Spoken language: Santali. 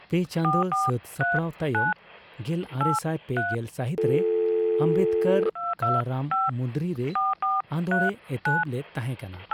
ᱯᱮ ᱪᱟᱸᱫᱳ ᱥᱟᱹᱛ ᱥᱟᱯᱲᱟᱣ ᱛᱟᱭᱚᱢ ᱜᱮᱞᱟᱨᱮᱥᱟᱭ ᱯᱮᱜᱮᱞ ᱥᱟᱦᱤᱛ ᱨᱮ ᱟᱢᱵᱮᱫᱽᱠᱚᱨ ᱠᱟᱞᱟᱨᱟᱢ ᱢᱩᱱᱫᱽᱨᱤ ᱨᱮ ᱟᱸᱫᱳᱲ ᱮ ᱮᱛᱚᱦᱚᱵ ᱞᱮᱫ ᱛᱟᱦᱮᱫ ᱠᱟᱱᱟ ᱾